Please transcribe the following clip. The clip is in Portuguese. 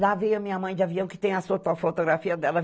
Lá veio a minha mãe de avião, que tem as foto fotografia dela.